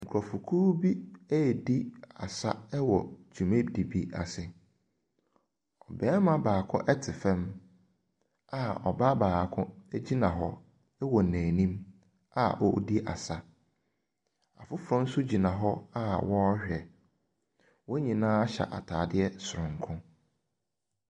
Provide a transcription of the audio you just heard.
Nkurɔfokuo redi asa wɔ dwumadie bi ase. Barima baako te fam, a ɔbaa baako gyina hɔ wɔ n'anim a ɔredi asa. Afoforɔ nso gyina hɔ a wɔrehwɛ. Wɔn nyinaa hyɛ atadeɛ soronko.